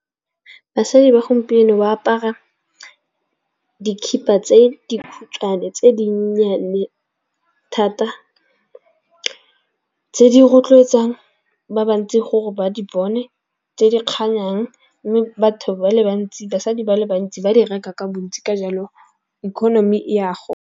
Basadi ba gompieno ba apara dikhiba tse dikhutshwane tse di nnyane thata tse di rotloetsang ba bantsi gore ba di bone, tse di kganyang. Mme batho ba le bantsi basadi ba le bantsi ba di reka ka bontsi ka jalo economy e ya .